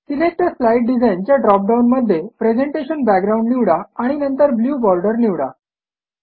select आ slide design च्या drop डाऊनमध्ये प्रेझेंटेशन बॅकग्राउंड निवडा आणि नंतर ब्लू बॉर्डर निवडा